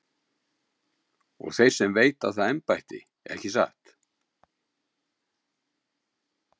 Og þeir sem veita það embætti, ekki satt?